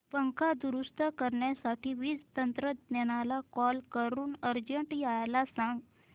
पंखा दुरुस्त करण्यासाठी वीज तंत्रज्ञला कॉल करून अर्जंट यायला सांग